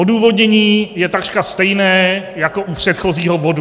Odůvodnění je takřka stejné jako u předchozího bodu.